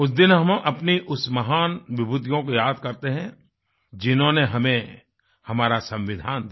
उस दिन हम अपनी उस महान विभूतियों को याद करते हैं जिन्होंने हमें हमारा संविधान दिया